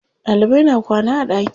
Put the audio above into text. Ɗalibai na kwana a ɗaki.